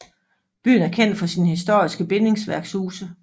Byen er kendt for sine historiske bindingsværkshuse